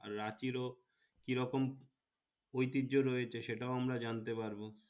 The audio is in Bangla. আর রাঁচি ও কি রকম ঐতিজ্য রয়েছে সে টাও আমরা জানতে পারবো